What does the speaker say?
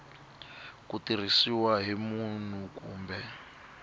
ku tirhisiwa hi munhu kumbe